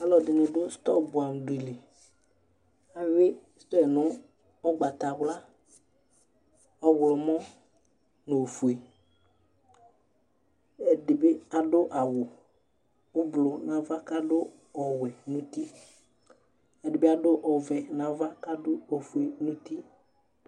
Ɔlɔdini du storm buamu dili ayui sɛ nu ugbatawla ɔɣlomɔ nu ofue ɛdibi adu awu ublu nava kadu ɔwɛ nu uti ɛdibi adu ɔvɛ nava ofue nu uti